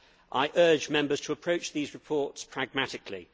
I urge Members to approach these reports pragmatically.